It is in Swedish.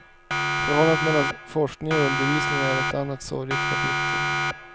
Förhållandet mellan forskning och undervisning är ett annat sorgligt kapitel.